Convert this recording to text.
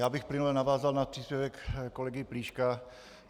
Já bych plynule navázal na příspěvek kolegy Plíška.